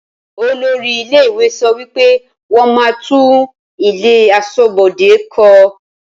Olórí ilé ìwé sọ wípé wọn máa tún ilé aṣọ́bodè kó